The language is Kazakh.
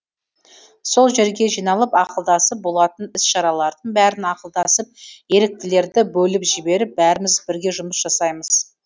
сол жерге жиналып ақылдасып болатын іс шаралардың бәрін ақылдасып еріктілерді бөліп жіберіп бәріміз бірге жұмыс жасаймыз